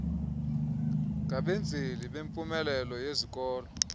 ngabenzeli bempumelelo yezikolo